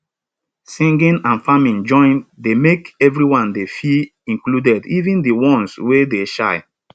singing and farming join dey make everyone dey feel included even de ones wey dey shy